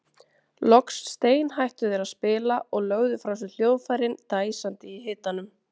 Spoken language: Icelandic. Loks steinhættu þeir að spila og lögðu frá sér hljóðfærin dæsandi í hitanum.